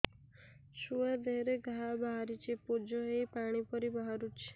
ଛୁଆ ଦେହରେ ଘା ବାହାରିଛି ପୁଜ ହେଇ ପାଣି ପରି ବାହାରୁଚି